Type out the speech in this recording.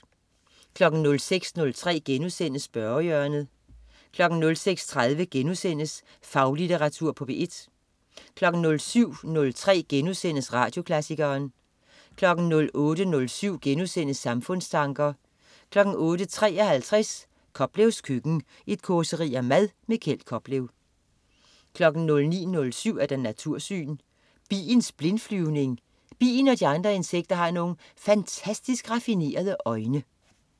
06.03 Spørgehjørnet* 06.30 Faglitteratur på P1* 07.03 Radioklassikeren* 08.07 Samfundstanker* 08.53 Koplevs køkken. Et causeri om mad. Kjeld Koplev 09.07 Natursyn. Biens blindflyvning? Bien og de andre insekter har nogle fantastisk raffinerede øjne